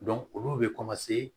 olu bɛ